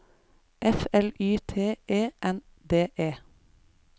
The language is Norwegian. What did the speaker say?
F L Y T E N D E